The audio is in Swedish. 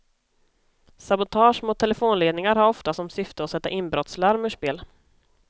Sabotage mot telefonledningar har ofta som syfte att sätta inbrottslarm ur spel.